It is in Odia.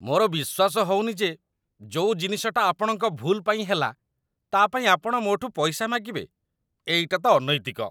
ମୋର ବିଶ୍ୱାସ ହଉନି ଯେ ଯୋଉ ଜିନିଷଟା ଆପଣଙ୍କ ଭୁଲ୍ ପାଇଁ ହେଲା, ତା'ପାଇଁ ଆପଣ ମୋ'ଠୁ ପଇସା ମାଗିବେ । ଏଇଟା ତ ଅନୈତିକ ।